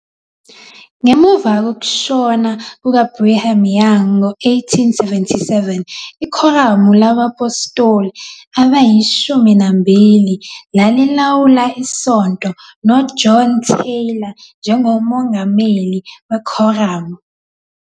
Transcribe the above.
Ngemuva kokushona kukaBrigham Young ngo-1877, iKhoramu labaPhostoli AbayiShumi Nambili lalilawula isonto, noJohn Taylor njengomongameli wekhoramu.